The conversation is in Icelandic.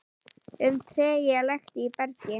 um trega lekt í bergi.